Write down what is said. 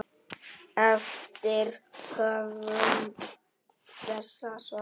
eftir höfund þessa svars.